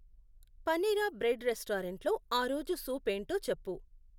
Panera bread restaurant లో ఆ రోజు సూప్ ఏంటో చెప్పు.